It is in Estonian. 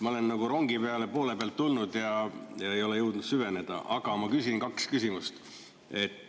Ma olen nagu rongi peale poole pealt tulnud ja ei ole jõudnud süveneda, aga ma küsin kaks küsimust.